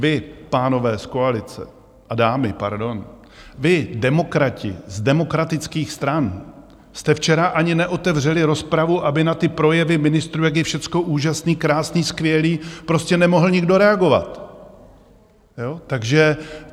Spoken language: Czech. Vy, pánové z koalice, a dámy, pardon, vy, demokrati z demokratických stran, jste včera ani neotevřeli rozpravu, aby na ty projevy ministrů, jak je všecko úžasné, krásné, skvělé, prostě nemohl nikdo reagovat.